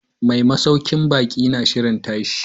Mai masaukin baki na shirin tashi.